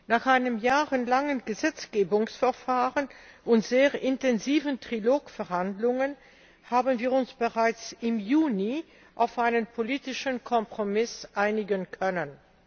Nach einem jahrelangen Gesetzgebungsverfahren und sehr intensiven Trilog Verhandlungen haben wir uns bereits im Juni auf einen politischen Kompromiss einigen können.